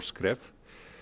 skref